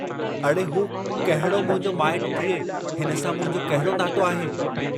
तव्हांजे करे?